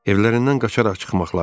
Evlərindən qaçaraq çıxmaqları.